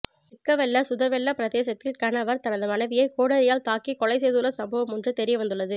திக்வெல்ல சுதவெல்ல பிரதேசத்தில் கணவர் தனது மனைவியை கோடரியால் தாக்கி கொலை செய்துள்ள சம்பவம் ஒன்று தெரியவந்துள்ளது